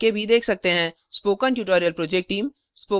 spoken tutorial project team